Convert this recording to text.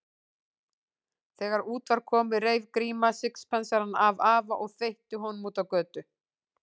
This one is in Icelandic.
Þegar út var komið reif Gríma sixpensarann af afa og þveitti honum út á götu.